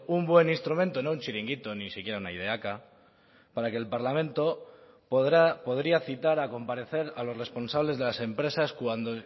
un buen instrumento no un chiringuito ni siquiera una ideaca para que el parlamento podría citar a comparecer a los responsables de las empresas cuando